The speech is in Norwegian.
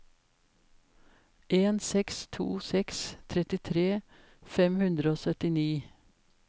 en seks to seks trettitre fem hundre og syttini